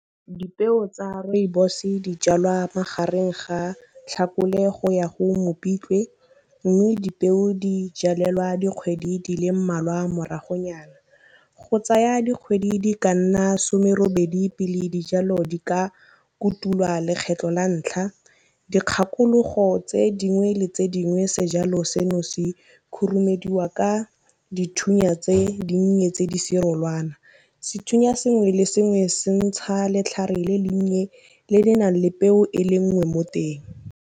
Dipeo tsa rooibos di jalwa magareng ga tlhakole go ya go mopitlwe, mme dipeo di jalelelwa dikgwedi di le mmalwa moragonyana. Go tsaya dikgwedi di ka nna somerobedi pele dijalo di ka kutulwa lekgetlho la ntlha, dikgakologo tse dingwe le tse dingwe sejalo seno se khurumediwa ka dithunya tse dinnye tse di serolwana. Sethunya sengwe le sengwe se ntsha letlhare le le nnye le le nang le peo e le nngwe mo teng.